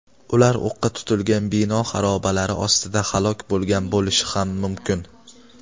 ular o‘qqa tutilgan bino xarobalari ostida halok bo‘lgan bo‘lishi ham mumkin.